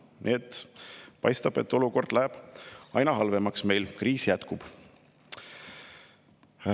Nii et paistab, et olukord läheb meil aina halvemaks, kriis jätkub.